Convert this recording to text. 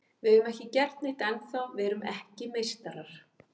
Við höfum ekki gert neitt ennþá, við erum ekki meistarar.